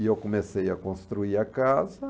E eu comecei a construir a casa.